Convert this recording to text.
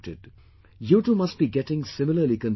You too must be getting similarly confused sometimes